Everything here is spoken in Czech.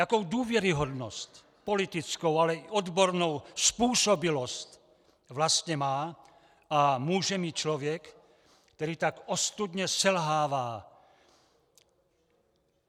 Jakou důvěryhodnost, politickou, ale i odbornou způsobilost vlastně má a může mít člověk, který tak ostudně selhává?